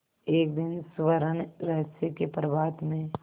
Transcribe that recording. एक दिन स्वर्णरहस्य के प्रभात में